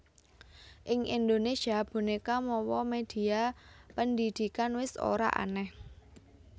Ing Indonesia boneka mawa medhia pendhidhikan wis ora aneh